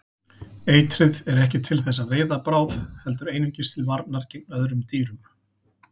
Eitrið er ekki til þess að veiða bráð heldur einungis til varnar gegn öðrum dýrum.